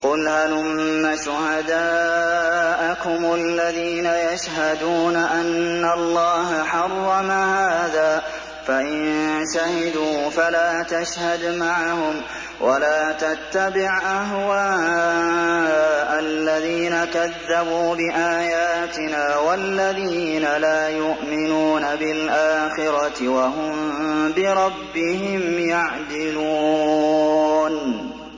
قُلْ هَلُمَّ شُهَدَاءَكُمُ الَّذِينَ يَشْهَدُونَ أَنَّ اللَّهَ حَرَّمَ هَٰذَا ۖ فَإِن شَهِدُوا فَلَا تَشْهَدْ مَعَهُمْ ۚ وَلَا تَتَّبِعْ أَهْوَاءَ الَّذِينَ كَذَّبُوا بِآيَاتِنَا وَالَّذِينَ لَا يُؤْمِنُونَ بِالْآخِرَةِ وَهُم بِرَبِّهِمْ يَعْدِلُونَ